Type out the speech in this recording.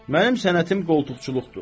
Mənim sənətim qoltukçuluqdur.